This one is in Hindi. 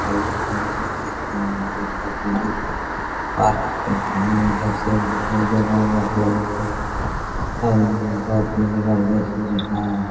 हेलो गाइस यहाँ पे काफी लोग पार्क घूमने का सीन दिखाई दे रहा है ये बहुत ही जबरदस्त दिखाया हैं।